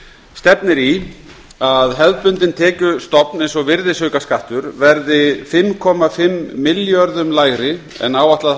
stefnir í að hefðbundinn tekjustofn eins og virðisaukaskattur verði fimmtíu og fimm milljörðum lægri en áætlað